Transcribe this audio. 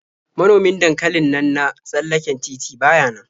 Manomin dankalin nan na tsallaken titi ba ya nan.